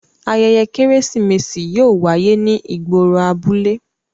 Ayẹyẹ Keresimesi yóò waye ni igboro abule.